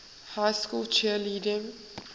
high school cheerleading